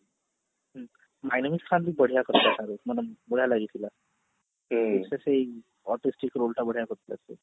my name is Khan ରେ ବି ବଢିଆ କରିଥିଲା ଶାହରୁଖ ମାନେ ବଢିଆ ଲାଗିଥିଲା ସେଇ artistic role ଟା ବଢିଆ କରିଥିଲା ସେ